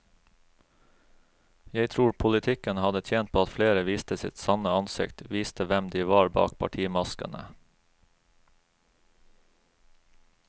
Jeg tror politikken hadde tjent på at flere viste sitt sanne ansikt, viste hvem de var bak partimaskene.